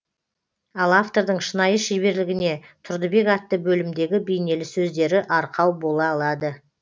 ал автордың шынайы шеберлігіне тұрдыбек атты бөлімдегі бейнелі сөздері арқау бола алады